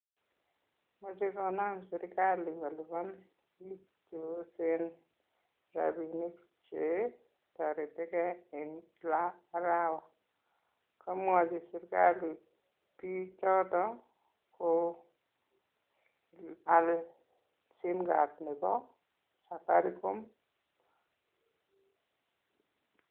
Mochekonam sirgali kolipan biik cheyosen rabinik che toretikei en kila arawa. Komwochi sirgali bichoton ko kual sim card nebo Safaricom.